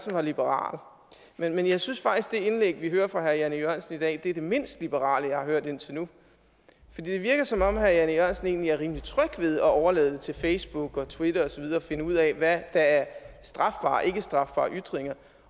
var liberal men jeg synes faktisk at det indlæg vi hører fra herre jan e jørgensen i dag er det mindst liberale jeg har hørt indtil nu det virker som om herre jan e jørgensen egentlig er rimelig tryg ved at overlade det til facebook og twitter og så videre at finde ud af hvad der er strafbare og ikkestrafbare ytringer